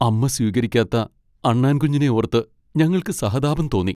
അമ്മ സ്വീകരിക്കാത്ത അണ്ണാൻ കുഞ്ഞിനെ ഓർത്ത് ഞങ്ങൾക്ക് സഹതാപം തോന്നി.